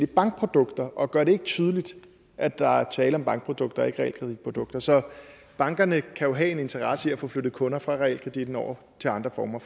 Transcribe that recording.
bankprodukter og gør det ikke tydeligt at der er tale om bankprodukter og ikke realkreditprodukter så bankerne kan jo have en interesse i at få flyttet kunder fra realkreditten over til andre former